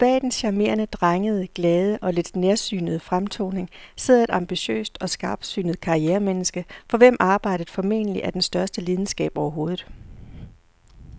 For bag den charmerende, drengede, glade og lidt nærsynede fremtoning sidder et ambitiøst og skarpsynet karrieremenneske, for hvem arbejdet formentlig er den største lidenskab overhovedet.